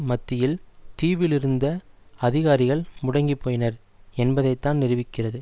மத்தியில் தீவில் இருந்த அதிகாரிகள் முடங்கிப்போயினர் என்பதைத்தான் நிரூபிக்கிறது